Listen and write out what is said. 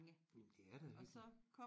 Men det er da hyggeligt